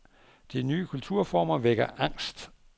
De nye kulturformer vækker angst.